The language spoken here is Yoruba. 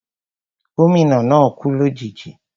Gómìnà náà kú lòjijì